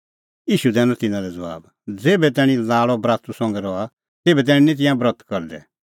ईशू दैनअ तिन्नां लै ज़बाब ज़ेभै तैणीं लाल़अ बरातू संघै रहा तेभै निं तिंयां ब्रत करदै